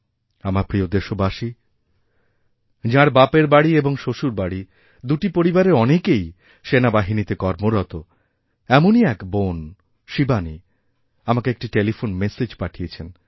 আমার প্রিয় দেশবাসীযাঁর বাপের বাড়ি এবং শ্বশুরবাড়ি দুটি পরিবারের অনেকেই সেনাবাহিনীতে কর্মরত এমনইএক বোন শিবানী আমাকে একটি টেলিফোন মেসেজ পাঠিয়েছেন